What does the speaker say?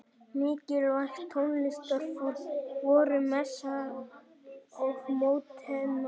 Mikilvæg tónlistarform voru messan og mótettan.